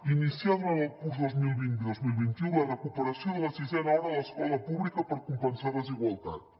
iniciar durant el curs dos mil vint dos mil vint u la recuperació de la sisena hora a l’escola pública per compensar desigualtats